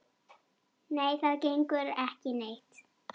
Nei, það gengur ekki neitt.